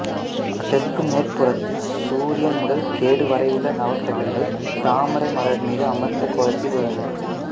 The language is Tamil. அதற்கும் மேற்புறத்தில் சூரியன் முதல் கேது வரையுள்ள நவக்கிரகங்கள் தாமரை மலர் மீது அமர்ந்த கோலத்தில் உள்ளனர்